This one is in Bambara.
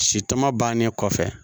Si tɔmɔ bannen kɔfɛ